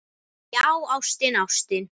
Já, ástin, ástin.